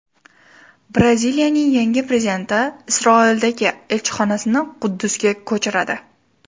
Braziliyaning yangi prezidenti Isroildagi elchixonasini Quddusga ko‘chiradi.